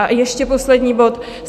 A ještě poslední bod.